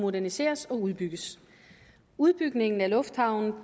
moderniseres og udbygges udbygningen af lufthavnen